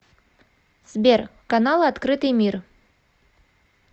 сбер каналы открытый мир